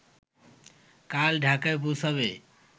কাল ঢাকায় পৌঁছাবে